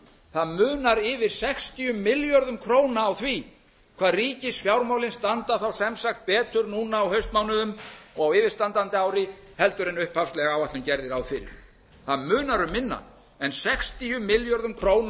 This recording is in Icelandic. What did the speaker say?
það munar yfir sextíu milljörðum króna á því hvað ríkisfjármálin standa þá sem sagt betur núna á haustmánuðum og á yfirstandandi ári heldur en upphafleg áætlun gerði ráð fyrir það munar um minna en sextíu milljörðum króna